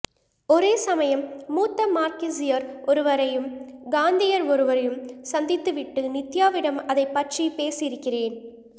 ஒரே சமயம் மூத்த மார்க்ஸியர் ஒருவரையும் காந்தியர் ஒருவரையும் சந்தித்துவிட்டு நித்யாவிடம் அதைப்பற்றி பேசியிருக்கிறேன்